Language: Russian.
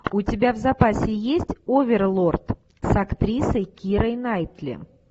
у тебя в запасе есть оверлорд с актрисой кирой найтли